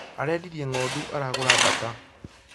Arendirie ng'ondu aragũra mbaata